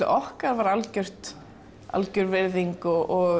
okkar var algjör algjör virðing og